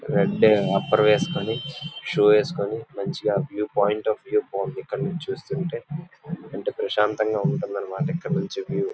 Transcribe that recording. red upper వేసుకొని shoe వేసుకోని మంచిగా వ్యూ పాయింట్ ఆఫ్ వ్యూ ని ఇక్కడ నుంచి చూస్తుంటే ఎంద ప్రశాంతతా ఉంటుంది అన్న మాటా ఇక్కడ నుంచి వ్యూ --